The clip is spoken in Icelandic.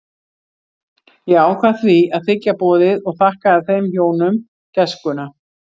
Ég ákvað því að þiggja boðið og þakkaði þeim hjónum gæskuna.